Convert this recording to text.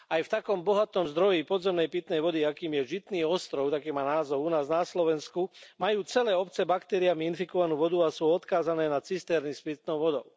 Aj v takom bohatom zdroji podzemnej pitnej vody, akým je Žitný ostrov taký má názov u nás na Slovensku, majú celé obce baktériami infikovanú vodu a sú odkázané na cisterny s pitnou vodou.